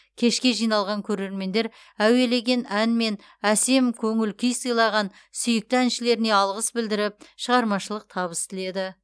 кешке жиналған көрермендер әуелеген ән мен әсем көңіл күй сыйлаған сүйікті әншілеріне алғыс білдіріп шығармашылық табыс тіледі